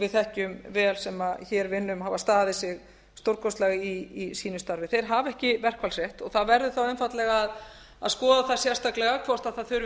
þekkjum vel sem hér vinnum hafa staðið sig stórkostlega í sínu starfi þeir hafa ekki verkfallsrétt og það verður þá einfaldlega að skoða það sérstaklega hvort það þurfi þá að